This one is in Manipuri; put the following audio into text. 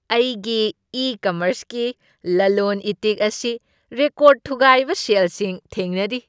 ꯑꯩꯒꯤ ꯏ ꯀꯃꯔꯁꯀꯤ ꯂꯂꯣꯟ ꯏꯇꯤꯛ ꯑꯁꯤ ꯔꯦꯀꯣꯔꯗ ꯊꯨꯒꯥꯏꯕ ꯁꯦꯜꯁꯤꯡ ꯊꯦꯡꯅꯔꯤ꯫